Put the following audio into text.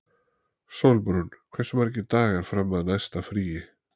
Sólbrún, hversu margir dagar fram að næsta fríi?